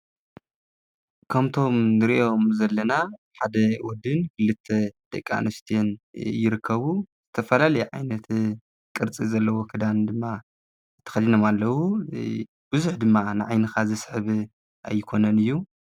ከምቶም ንርእዮም ዘለና ሓደ ወድን ክልተ ደቂ ኣንስትዮን ይርከቡ፡፡ ተፈላለየ ኣይነት ቅርፂ ዘለዎ ክዳን ድማ ተከዲኖም ኣለው። ብዙሕ ድማ ንዓይንካ ዝስሕብ ኣይኮነን እዩ፡፡